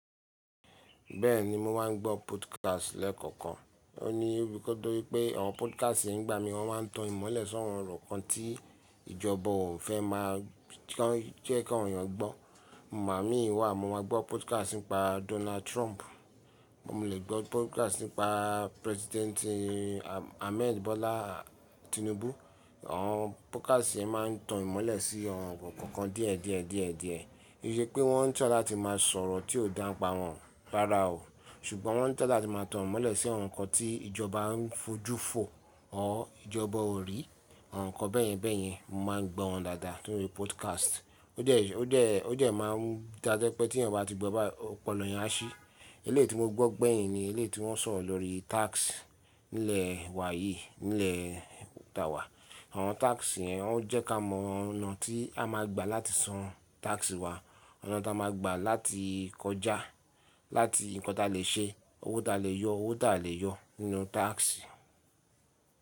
Bẹ́ẹ̀ni, mo máa ń gbọ́ podcast lẹ́ẹ̀kọ̀kan. Ó ní, nítorí pé àwọn podcast yẹn ń gba mi. Wọ́n máa ń tan ìmọ́lẹ̀ si àwọn ǹkan tí ìjọba ò fẹ́ máa jẹ́ kí àwọn ènìyàn gbọ́. Màmá mi wà, mo máa gbọ́ podcast nípa Donald Trump, mo lè gbọ́ podcast nípa President Ahmed Bola Tinubu. Àwọn podcast yẹn máa ń tan ìmọ́lẹ̀ sí àwọn ǹkan kan díẹ̀ díẹ̀ díẹ̀ díẹ̀. Kì í ṣe pé wọ́n ń try láti máa sọ̀rọ̀ tí ó dà pa wọ́n rára o. Ṣùgbọ́n wọ́n ń tọ̀ ọ láti máa tan ìmọ́lẹ̀ sí àwọn ǹkan tí ìjọba ń fojú fò ọ, or ìjọba ò rí, àwọn ǹkan bẹ́ẹ̀yẹn bẹ́ẹ̀yẹn. Mo máa ń gbọ́ wọn dáadáa torí podcast. Ó dẹ́, ó dẹ́, ó dẹ́ máa ń dájẹ́ pé tí èèyàn bá ti gbọ́ báyìí, ọpọlọ eyan á ṣí. Eléi tí mo gbọ́ gbẹ̀yìn ni eléi tí wọ́n sọ̀rọ̀ lórí tax nílẹ̀ wa yìí, nílẹ̀ tá a wà. Àwọn tax yẹn, wọn jẹ́ ká mọ ọ̀nà tí a máa gba láti san tax wa, ọ̀nà tí a máa gba láti kọjá, láti nǹkan ta lè ṣe, owó ta lè yọ́, owó ta le yọ́ nínú tax.